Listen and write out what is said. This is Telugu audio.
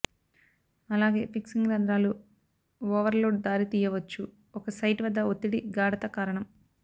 అలాగే ఫిక్సింగ్ రంధ్రాలు ఓవర్లోడ్ దారి తీయవచ్చు ఒక సైట్ వద్ద ఒత్తిడి గాఢత కారణం